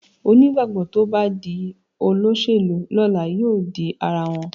Onígbàgbọ́ tó bá di olóṣèlú lọ́la yóò di ara wọn